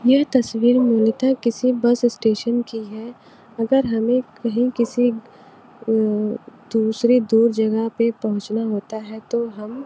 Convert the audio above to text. यह तस्वीर मूलतः किसी बस स्टेशन की है अगर हमें कहीं किसी हम्म दूसरी दूर जगह पे पहुंचना होता है तो हम--